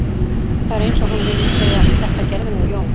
Það er eins og hún vilji segja: Þetta gerði nú Jón